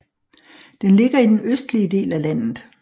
Den ligger i den østlige del af landet